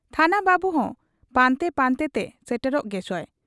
ᱛᱷᱟᱱᱟᱵᱟᱹᱵᱩ ᱦᱚᱸ ᱯᱟᱱᱛᱮ ᱯᱟᱱᱛᱮ ᱛᱮ ᱥᱮᱴᱮᱨᱚᱜ ᱜᱮᱪᱚᱭ ᱾